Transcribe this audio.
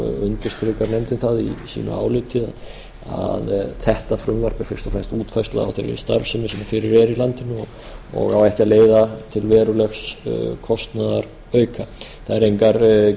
undirstrikar nefndin það í sínu áliti að þetta frumvarp er fyrst og fremst útfærsla á þeirri starfsemi sem fyrir er í landinu og á ekki að leiða til verulegs kostnaðarauka það eru engar